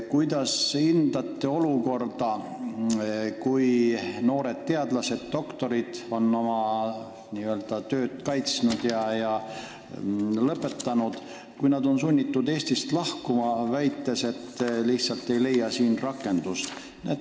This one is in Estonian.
Kuidas hindate olukorda, kus noored teadlased, doktorid on oma tööd kaitsnud ja õpingud lõpetanud, kuid on sunnitud Eestist lahkuma, sest nad lihtsalt ei leia siin rakendust?